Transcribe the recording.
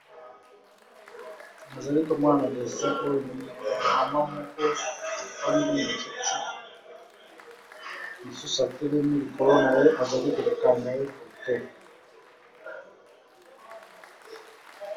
Na zali ko mona na desse oyo mama moko avandi na kiti mususu atelimi likolo na ye azali ko kanga ye foto.